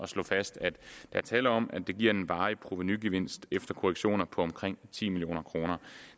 slå fast at der er tale om at det giver en varig provenugevinst efter korrektioner på omkring ti million kroner